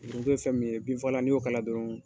Foronto ye fɛn min ye binfagala n'i y'o k'a la dɔrɔn